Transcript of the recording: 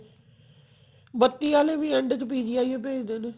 ਬੱਤੀ ਆਲੇ ਵੀ end ਚ PGI ਓ ਭੇਜਦੇ ਨੇ